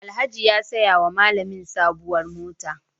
Alhaji ya saya wa malamin sabuwar mota.